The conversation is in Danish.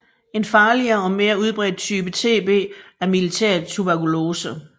En farligere og mere udbredt type TB er miliærtuberkulose